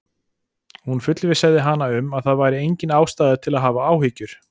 Hún fullvissaði hana um að það væri engin ástæða til að hafa áhyggjur.